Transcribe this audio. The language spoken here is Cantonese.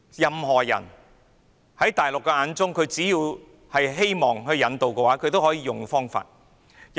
只要是大陸希望引渡的人，都可以用這方法引渡。